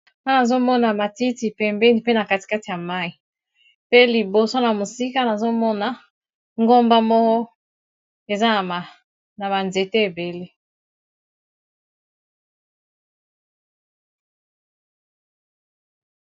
awa nazomona matiti pe embeni pe na katikate ya mai pe liboso na mosika nazomona ngomba moko eza na banzete ebele